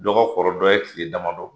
Dɔ ka kɔrɔ dɔ ye kile damadɔ,